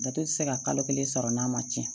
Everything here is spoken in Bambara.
Dato tɛ se ka kalo kelen sɔrɔ n'a ma tiɲɛ